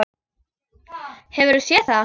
Hefurðu séð það?